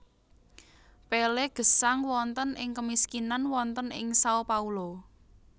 Pelé gesang wonten ing kemiskinan wonten ing Sao Paulo